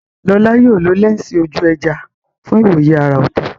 Lola yóò lo lẹ́ńsì ojú ẹja fún ìwòye àrà ọ̀tọ̀.